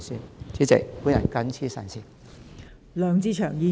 代理主席，我謹此陳辭。